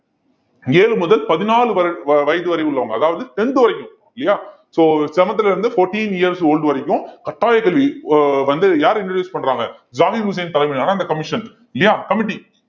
ஏழு முதல் பதினாலு வரை வயது வரை உள்ளவங்க அதாவது tenth வரைக்கும் இல்லையா so seventh ல இருந்து fourteen years old வரைக்கும் கட்டாய கல்வி வ~ வந்து யாரு introduce பண்றாங்க ஜாகிர் உசேன் தலைமையிலான அந்த commission இல்லையா committee